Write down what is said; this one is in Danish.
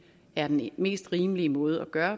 er den mest rimelige måde at gøre